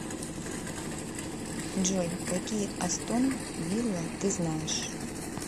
джой какие астон вилла ты знаешь